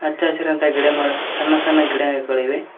ಹಚ್ಚ ಹಸಿರಂತ ಗಿಡ ಮರ ಸಣ್ಣ ಸಣ್ಣ ಗಿಡಗಳಿವೆ.